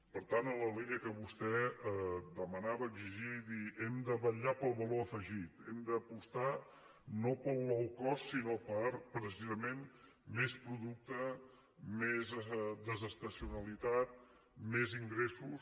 per tant en la línia que vostè demanava exigia i dir hem de vetllar pel valor afegit hem d’apostar no pel low cost sinó per precisament més producte més de·sestacionalitat més ingressos